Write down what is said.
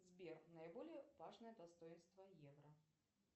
сбер наиболее важное достоинство евро